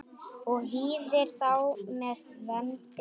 og hýðir þá með vendi.